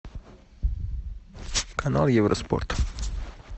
канал евроспорт